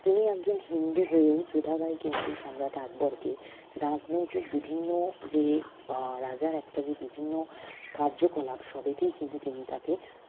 তিনি একজন হিন্দু হয়েও যোধাবাই কিন্তু সম্রাট আকবরকে রাজনৈতিক বিভিন্ন যে আহ রাজার একটা যে বিভিন্ন কার্যকলাপ সবইতেই কিন্তু তিনি তাকে